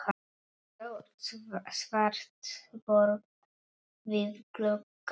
Stórt svart borð við glugga.